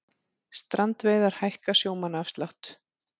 Strandveiðar hækka sjómannaafslátt